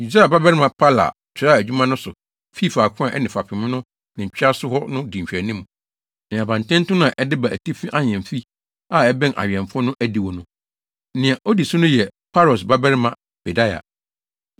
Usai babarima Palal toaa adwuma no so fii faako a ɛne fapem no ne ntwea so hɔ no di nhwɛanim, ne abantenten no a ɛde ba atifi ahemfi a ɛbɛn awɛmfo no adiwo no. Nea odi ne so yɛ Paros babarima Pedaia,